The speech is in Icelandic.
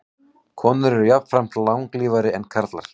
Konur eru jafnframt langlífari en karlar.